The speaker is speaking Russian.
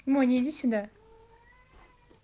моня иди сюда